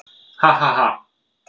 Ha ha ha!